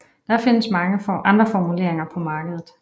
Der findes mange andre formuleringer på markedet